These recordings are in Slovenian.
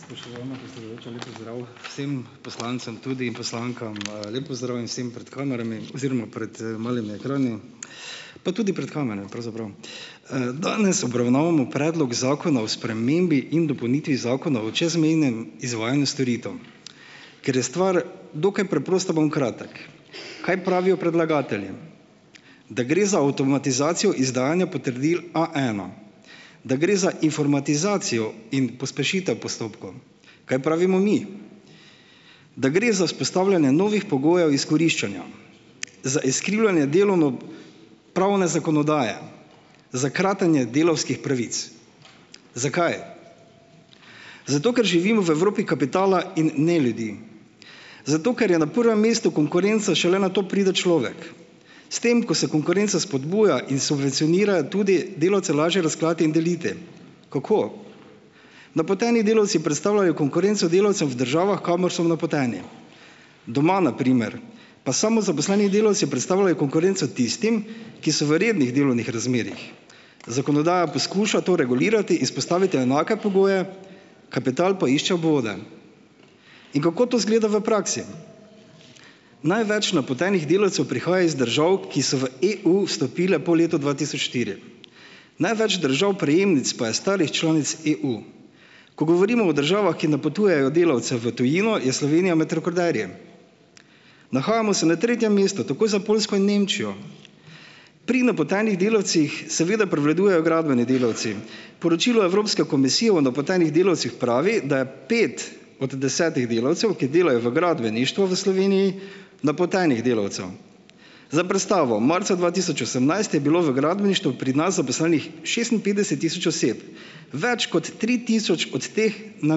Spoštovana predsedujoča, lep pozdrav vsem poslancem tudi in poslankam, lep pozdrav in vsem pred kamerami oziroma pred, malimi ekrani, pa tudi pred kamerami pravzaprav. Danes obravnavamo Predlog zakona o spremembi in dopolnitvi Zakona o čezmejnem izvajanju storitev. Ker je stvar dokaj preprosta, bom kratek. Kaj pravijo predlagatelji? Da gre za avtomatizacijo izdajanja potrdil A ena, da gre za informatizacijo in pospešitev postopkov. Kaj pravimo mi? Da gre za vzpostavljanje novih pogojev izkoriščanja, za izkrivljanje delovnopravne zakonodaje, za kratenje delavskih pravic. Zakaj? Zato, ker živimo v Evropi kapitala in ne ljudi. Zato, ker je na prvem mestu konkurenca, šele nato pride človek. S tem, ko se konkurenca spodbuja in subvencionira, je tudi delavce lažje razklati in deliti. Kako? Napoteni delavci predstavljajo konkurenco delavcev v državah, kamor so napoteni. Doma, na primer pa samo zaposleni delavci predstavljajo konkurenco tistim, ki so v rednih delovnih razmerjih, zakonodaja poskuša to regulirati, izpostaviti enake pogoje, kapital pa išče obvode. In kako to izgleda v praksi? Največ napotenih delavcev prihaja iz držav, ki so v EU vstopile po letu dva tisoč štiri. Največ držav prejemnic pa je starih članic EU. Ko govorimo o državah, ki napotujejo delavce v tujino, je Slovenija med rekorderji. Nahajamo se na tretjem mestu, takoj za Poljsko in Nemčijo. Pri napotenih delavcih seveda prevladujejo gradbeni delavci. Poročilo Evropske komisije o napotenih delavcih pravi, da je pet od desetih delavcev, ki delajo v gradbeništvu v Sloveniji, napotenih delavcev. Za predstavo, marca dva tisoč osemnajst je bilo v gradbeništvu pri nas zaposlenih šestinpetdeset tisoč oseb, več kot tri tisoč od teh na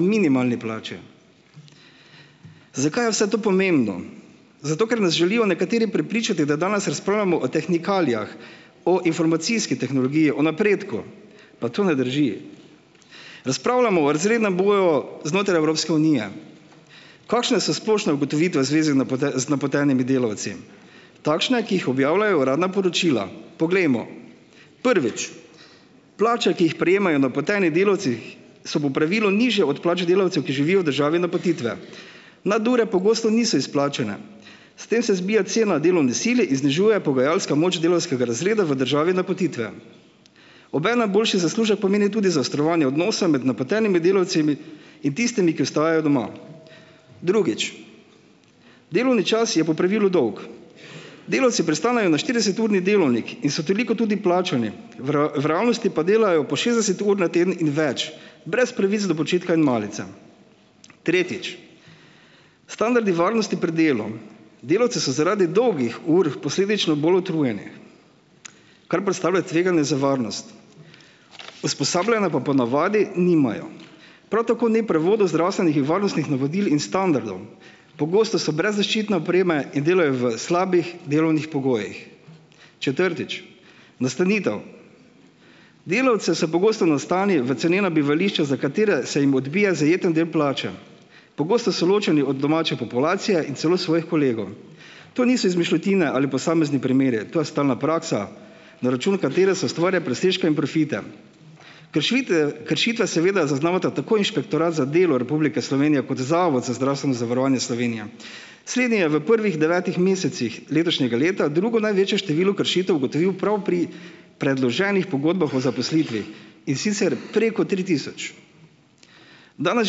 minimalni plači. Zakaj je vse to pomembno? Zato, ker nas želijo nekateri prepričati, da danes razpravljamo o tehnikalijah, o informacijski tehnologiji, o napredku, pa to ne drži. Razpravljamo v razrednem boju znotraj Evropske unije. Kakšne so splošne ugotovitve v zvezi z napotenimi delavci? Takšne, ki jih objavljajo uradna poročila. Poglejmo. Prvič. Plače, ki jih prejemajo napoteni delavci, so po pravilu nižje od plač delavcev, ki živijo v državi napotitve. Nadure pogosto niso izplačane, s tem se zbija cena delovne sile in znižuje pogajalska moč delavskega razreda v državi napotitve. Obenem boljši zaslužek pomeni tudi zaostrovanje odnosa med napotenimi delavci in tistimi, ki ostajajo doma. Drugič. Delovni čas je po pravilu dolg. Delavci pristanejo na štirideseturni delavnik in so toliko tudi plačani, v v realnosti pa delajo po šestdeset ur na teden in več, brez pravic do počitka in malice. Tretjič. Standardi varnosti pri delu. Delavci so zaradi dolgih ur posledično bolj utrujeni, kar predstavlja tveganje za varnost, usposabljanja pa ponavadi nimajo. Prav tako ni prevodov zdravstvenih in varnostnih navodil in standardov, pogosto so brez zaščitne opreme in delajo v slabih delovnih pogojih. Četrtič. Nastanitev. Delavce se pogosto nastani v cenena bivališča, za katera se jim odbije zajeten del plače. Pogosto so ločeni od domače populacije in celo svojih kolegov. To niso izmišljotine ali posamezni primeri, to je stalna praksa, na račun katere se ustvarja presežke in profite. Kršvite, kršitve seveda je zaznal tako Inšpektorat za delo Republike Slovenije kot Zavod za zdravstveno zavarovanje Slovenije. Slednji je v prvih devetih mesecih letošnjega leta drugo največje število kršitev ugotovil prav pri predloženih pogodbah o zaposlitvi, in sicer preko tri tisoč. Danes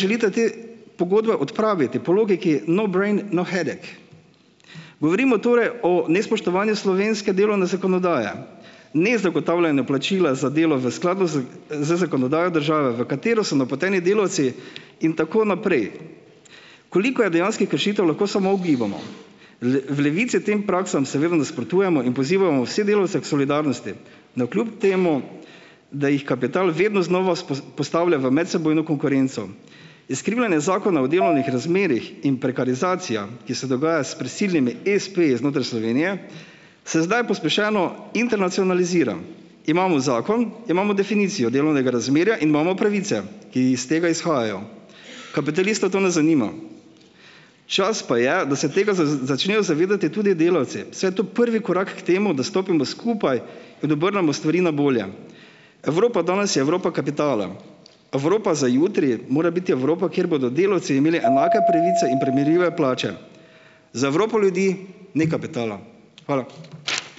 želite te pogodbe odpraviti po logiki no brain no headache. Govorimo torej o nespoštovanju slovenske delovne zakonodaje, nezagotavljanje plačila za delo v skladu z, z zakonodajo države, v katero so napoteni delavci, in tako naprej. Koliko je dejanskih kršitev, lahko samo ugibamo. V Levici tem praksam seveda nasprotujemo in pozivamo vse delavce k solidarnosti, navkljub temu, da jih kapital vedno znova postavlja v medsebojno konkurenco. Izkrivljanje zakona o delovnih razmerjih in prekarizacija, ki se dogaja s prisilnimi espeji znotraj Slovenije, se zdaj pospešeno internacionalizira. Imamo zakon, imamo definicijo delovnega razmerja in imamo pravice, ki iz tega izhajajo. Kapitalista to ne zanima, čas pa je, da se tega začnejo zavedati tudi delavci, saj je to prvi korak k temu, da stopimo skupaj in obrnemo stvari na bolje. Evropa danes je Evropa kapitala. Evropa za jutri mora biti Evropa, kjer bodo delavci imeli enake pravice in primerljive plače. Za Evropo ljudi ni kapitala. Hvala.